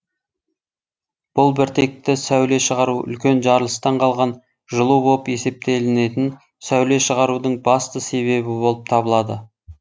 бұл біртекті сөуле шығару үлкен жарылыстан қалған жылу боп есептелінетін сәуле шығарудың басты себебі болып табылады